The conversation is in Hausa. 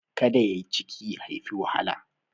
Ka da yai ciki ya haifi wahala.